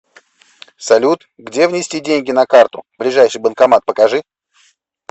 салют где внести деньги на карту ближайший банкомат покажи